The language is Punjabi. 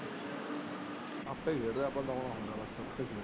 ਆਪੇ ਹੋ ਗਿਆ